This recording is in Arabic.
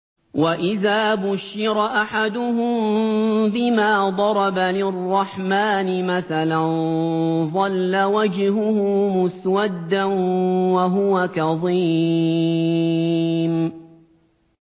وَإِذَا بُشِّرَ أَحَدُهُم بِمَا ضَرَبَ لِلرَّحْمَٰنِ مَثَلًا ظَلَّ وَجْهُهُ مُسْوَدًّا وَهُوَ كَظِيمٌ